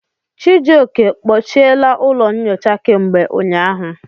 Chijioke, kpochiela ụlọ nyocha kemgbe ụnyahụ.